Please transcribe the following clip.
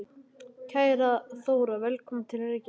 Kæra Þóra. Velkomin til Reykjavíkur.